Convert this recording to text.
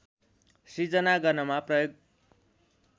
सृजना गर्नमा प्रयोग